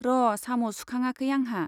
र' साम' सुखाङाखै आंहा।